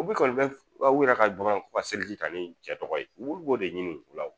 U bɛ kɔni u yɛrɛ kan dɔrɔn ko ka seliji ta ni cɛ tɔgɔ ye olu b'o de ɲini u la